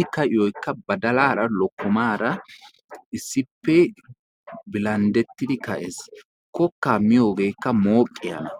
i ka'iyoykka badalaara lokkomaara issippe bilandettidi ka'ees. kokkaa miyogeekka mooqiyana.